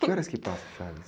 Que horas que passa o Chaves?